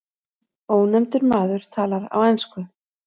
Ónefndur maður talar á ensku.